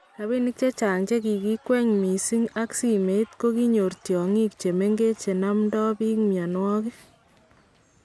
Rabinik chechang chekikikwen missing ak simeet kokinyor tyong'iik chemengech chenamdaa biik myanwagik